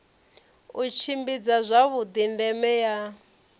u tshimbidza zwavhuḓi ndeme ya